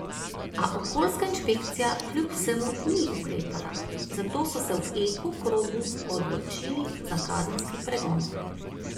A okoljska inšpekcija kljub vsemu ni ukrepala, zato so se v Eko krogu odločili za kazenski pregon.